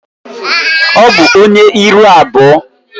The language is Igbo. Ọ bụ onye ihu abụọ.